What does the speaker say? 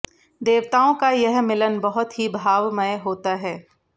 देवताओं का यह मिलन बहुत ही भावमय होता है